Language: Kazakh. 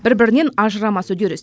бір бірінен ажырамас үдеріс